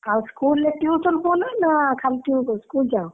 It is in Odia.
ଆଉ school ରେ tuition ହୁଅ ନା ଖାଲି school ଯାଅ?